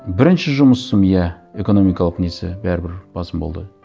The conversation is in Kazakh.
бірінші жұмысым иә экономикалық несі бәрібір басым болды